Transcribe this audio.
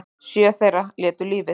Sjö þeirra létu lífið